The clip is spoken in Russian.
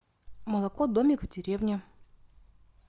молоко домик в деревне